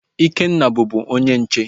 Ikenna bubu onye nche